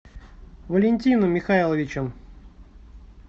валентином михайловичем